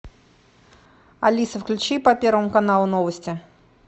алиса включи по первому каналу новости